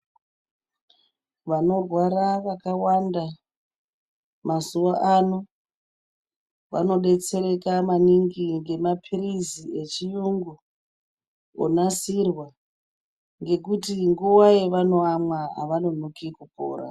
Vanorwara vakawanda mazuwa ano vanodetsereka maningi ngemapilizi echiyungu onasirwa ngekuti nguwa yevanoamwa avanonoki kupora.